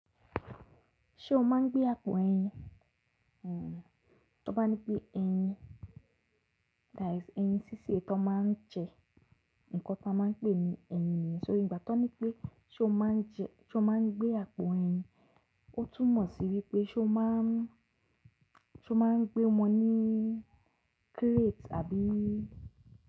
Ṣé o máa ń gbé àpò ẹyin? Ọ́ bá ní pé ẹyin, that is ẹyin síse tó máa ń jẹ, ǹkan tí a máa ń pè ní ẹyin yẹn. So ìgbà tó ní pé ṣé o máa ń jẹ-- ṣé o máa ń gbé àpò ẹyin, ó túmọ̀ sí wípé ṣé o máa ń, ṣé o máa ń gbé wọn ní crate àbí.